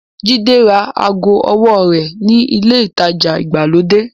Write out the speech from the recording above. Jídé ra aago owó rẹ̀ ní ilé-ìtajà ìgbàlódé.